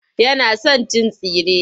Yana son cin tsire.